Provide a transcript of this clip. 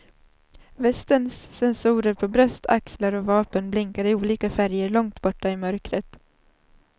Västens sensorer på bröst, axlar och vapen blinkar i olika färger långt borta i mörkret.